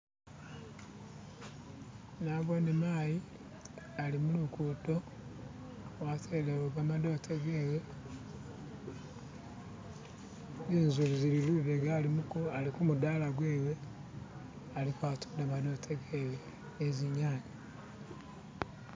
Nabone mayi ali mulugudo watelewo gamadote gewe zinzu zili lubega ali kumudaala gwewe aliko atunda madotegewe nizinyanya